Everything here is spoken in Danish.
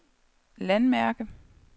landmærke